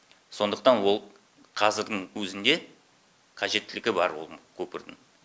сондықтан ол қазірдің өзінде қажеттілігі бар оның көпірдің